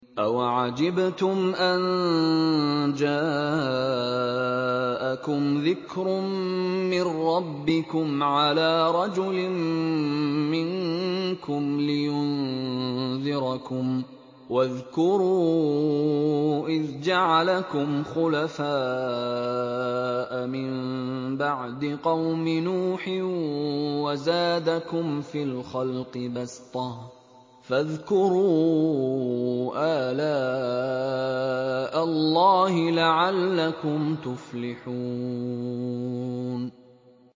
أَوَعَجِبْتُمْ أَن جَاءَكُمْ ذِكْرٌ مِّن رَّبِّكُمْ عَلَىٰ رَجُلٍ مِّنكُمْ لِيُنذِرَكُمْ ۚ وَاذْكُرُوا إِذْ جَعَلَكُمْ خُلَفَاءَ مِن بَعْدِ قَوْمِ نُوحٍ وَزَادَكُمْ فِي الْخَلْقِ بَسْطَةً ۖ فَاذْكُرُوا آلَاءَ اللَّهِ لَعَلَّكُمْ تُفْلِحُونَ